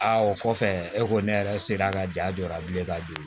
Aa o kɔfɛ e ko ne yɛrɛ sera ka jaa jɔ a bilen ka don